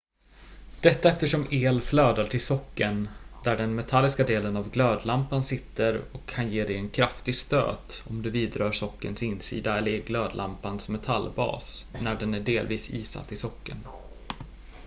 detta eftersom el flödar till sockeln där den metalliska delen av glödlampan sitter och kan ge dig en kraftig stöt om du vidrör sockelns insida eller glödlampans metallbas när den är delvis isatt i sockeln